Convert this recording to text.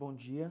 Bom dia.